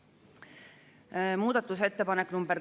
Viienda päevakorrapunkti käsitlemine on lõppenud.